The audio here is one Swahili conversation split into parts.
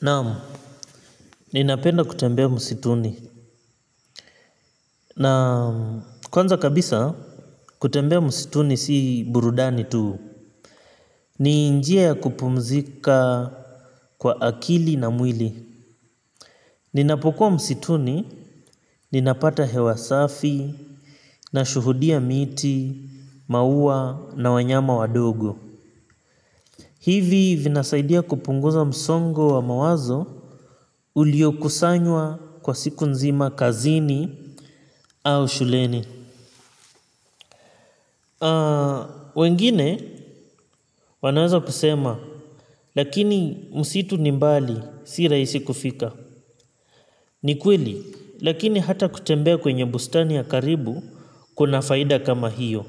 Naam, ninapenda kutembea msituni. Naam, kwanza kabisa kutembea msituni si burudani tu. Ni njia ya kupumzika kwa akili na mwili. Ninapokuwa msituni, ninapata hewa safi. Nashuhudia miti, maua na wanyama wadogo. Hivi vinasaidia kupunguza msongo wa mawazo uliokusanywa kwa siku nzima kazini au shuleni. Wengine wanaweza kusema lakini msitu ni mbali si rahisi kufika. Ni kweli lakini hata kutembea kwenye bustani ya karibu kuna faida kama hiyo.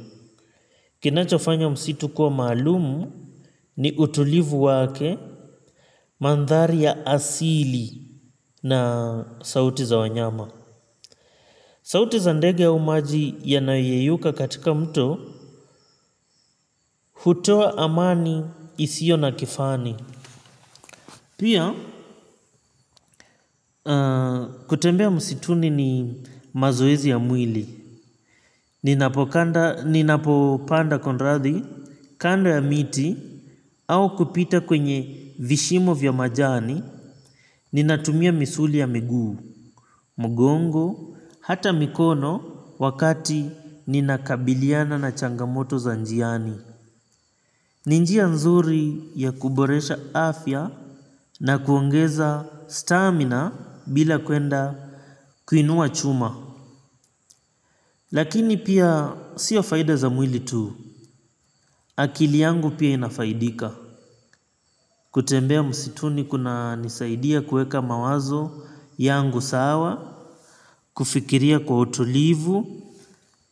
Kinachofanya msitu kuwa maalumu ni utulivu wake mandhari ya asili na sauti za wanyama. Sauti za ndege au maji yanayoyeyuka katika mto hutoa amani isiyo na kifani. Pia, kutembea msituni ni mazoezi ya mwili, ninapopanda kunrathi, kando ya miti, au kupita kwenye vishimo vya majani, ninatumia misuli ya miguu, mgongo, hata mikono, wakati ninakabiliana na changamoto za njiani. Ni njia nzuri ya kuboresha afya na kuongeza stamina bila kuenda kuinua chuma. Lakini pia sio faida za mwili tu. Akili yangu pia inafaidika. Kutembea msituni kunanisaidia kuweka mawazo yangu sawa, kufikiria kwa utulivu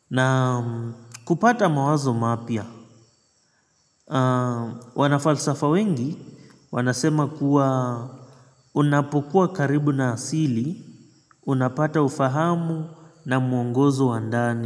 na kupata mawazo mapya. Wanafalsafa wengi wanasema kuwa unapokuwa karibu na asili unapata ufahamu na muongozo wa ndani.